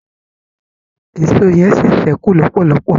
Èṣó yen sí sẹku lọpọlọpọ